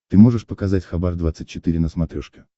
ты можешь показать хабар двадцать четыре на смотрешке